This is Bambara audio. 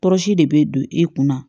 Tɔɔrɔsi de bɛ don e kunna